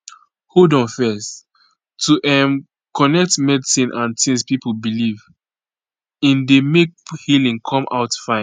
hold on fezz to um connect medicine and tings pipo belief in dey make healing come out fine